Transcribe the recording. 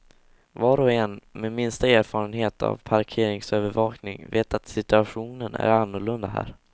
Var och en med minsta erfarenhet av parkeringsövervakning vet att situationen är annorlunda här.